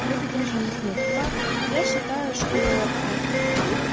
в этот день же у нас нету пар я считаю что